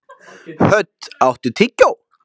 Hödd, áttu tyggjó?